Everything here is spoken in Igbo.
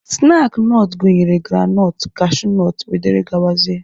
Snaakị nọt gụnyere granọt, kashunọt wdg.